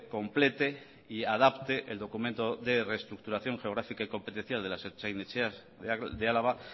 complete y adapte el documento de reestructuración geográfica y competencial de las ertzain etxeas de álava